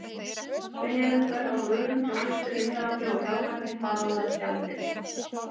Sveigjanlegt verð á vörum, þjónustu, vinnuafli og fjármagni- þar á meðal gjaldeyri!